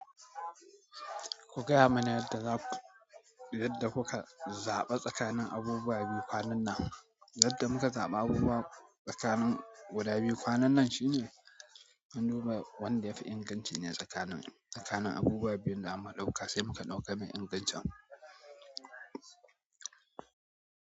Ku gaya mani yadda za ku, yadda kuka zaɓa tsakanin abubuwa biyu kwanan nan. Yadda muka zaɓi abubuwa tsakanin guda biyu kwanan nan shine an duba wanɗa yafi inganci ne tsakanin, tsakanin abubuwa biyun da muka ɗauka sai muka ɗauka mai ingancin.